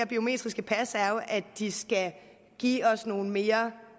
biometriske pas er jo at de skal give os en mere